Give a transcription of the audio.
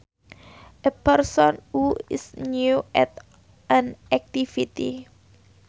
A person who is new at an activity